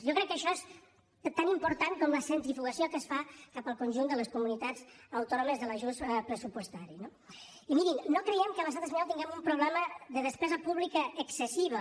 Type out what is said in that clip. jo crec que això és tan important com la centrifugació que es fa cap al conjunt de les comunitats autònomes de l’ajust pressupostari no i mirin no creiem que a l’estat espanyol tinguem un problema de despesa pública excessiva